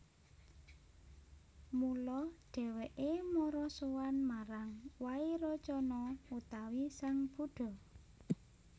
Mula dhèwèké mara sowan marang Wairocana utawi sang Buddha